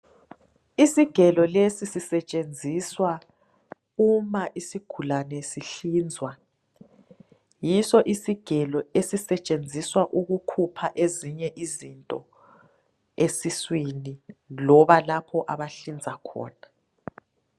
Isigelo lesi sisetshenziswa uma isigulane sihlinzwa ,yiso isigelo esisetshenziswa ukukhupha ezinye izinto esiswini loba lapho abahlinza khona.